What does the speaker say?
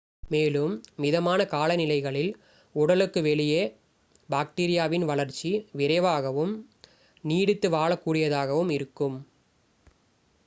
மேலும் மிதமான காலநிலைகளில் உடலுக்கு வெளியே பாக்டீரியாவின் வளர்ச்சி விரைவாகவும் நீடித்து வாழக்கூடியதாகவும் இருக்கும்